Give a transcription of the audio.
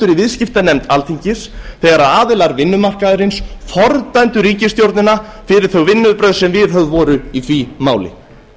viðskiptanefnd alþingis þegar aðilar vinnumarkaðarins fordæmdu ríkisstjórnina fyrir þau vinnubrögð sem viðhöfð voru í því máli